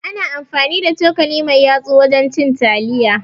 Ana amfani da cokali mai yatsu wurin cin taliya